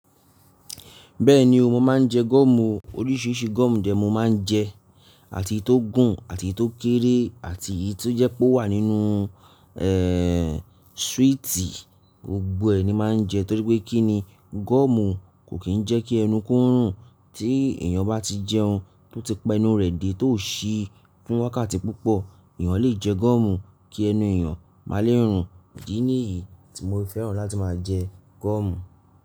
Bẹ́ẹ̀ni o, mo máa ń jẹ gọ́ọ̀mù oríṣiríṣi gọ́ọ̀mù dè mo máa ń jẹ, àti èyí tó gùn àti èyí tó kéré àti èyí tó jẹ́ pé ó wà nínú, eh, sweeti gbogbo ẹ̀ ni máa ń jẹ torí pé kí ni gọ́ọ̀mù kò kì í jẹ́ kí ẹnu kó rùn. Tí èèyàn bá ti jẹun tó ti pa ẹnu rẹ̀ dé tó ò sí fún wákàtí púpọ̀, èèyàn lè jẹ gọ́ọ̀mù kí ẹnu èèyàn má lè rùn. Ìdí ní èyí tí mo fi fẹ́ràn láti máa jẹ gọ́ọ̀mù.